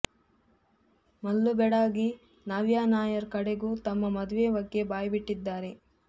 ಮಲ್ಲು ಬೆಡಗಿ ನವ್ಯಾ ನಾಯರ್ ಕಡೆಗೂ ತಮ್ಮ ಮದುವೆ ಬಗ್ಗೆ ಬಾಯ್ಬಿಟ್ಟಿದ್ದಾರೆ